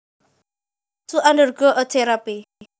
To undergo a therapy